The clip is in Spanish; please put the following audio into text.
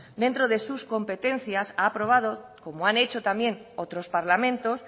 dentro de sus competencias ha aprobado como han hecho también otros parlamentos